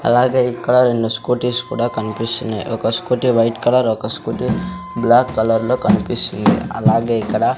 అలాగే ఇక్కడ రెండు స్కూటిస్ కూడా కనిపిస్తున్నాయి ఒక స్కూటీ వైట్ కలర్ ఒక స్కూటీ బ్లాక్ కలర్ లో కనిపిస్తుంది అలాగే ఇక్కడ --